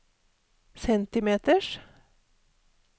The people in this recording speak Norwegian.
centimeters